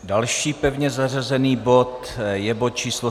Další pevně zařazený bod je bod číslo